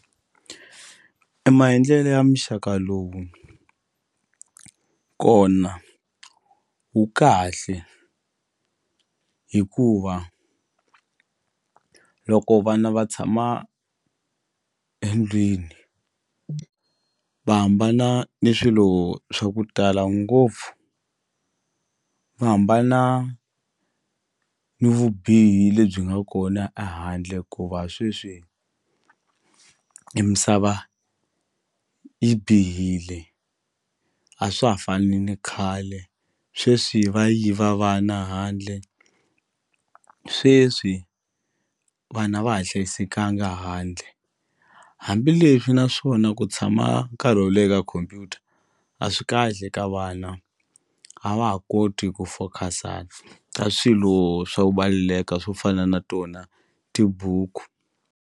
E maendlelo ya muxaka lowu kona wu kahle hikuva loko vana va tshama endlwini va hambana ni swilo swa ku tala ngopfu va hambana ni vubihi lebyi nga kona ehandle ku va sweswi i misava yi bihile a swa ha fani ni khale sweswi va yiva vana handle sweswi vana va ha hlayisekanga handle hambileswi naswona ku tshama nkarhi wo leha ka khompyuta a swi kahle ka vana a va ha koti ku focus-a ka swilo swa ku swo fana na tona tibuku.